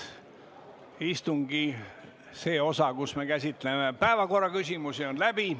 Istungi see osa, kus me käsitleme päevakorraküsimusi, on läbi.